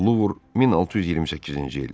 Luvr 1628-ci il.